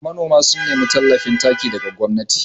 Nanoma sun nemi tallafin taki daga gwamnati